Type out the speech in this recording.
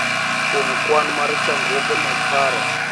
Kuom kwan mar chandruoge mag paro,